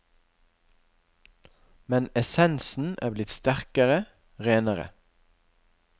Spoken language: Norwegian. Men essensen er blitt sterkere, renere.